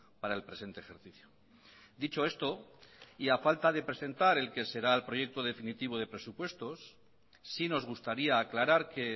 para el presente ejercicio dicho esto y a falta de presentar el que será el proyecto definitivo de presupuestos sí nos gustaría aclarar que